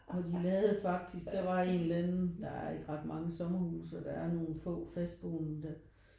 Og de lavede faktisk der var en eller anden der er ikke ret mange sommerhuse og der er nogen få fastboende der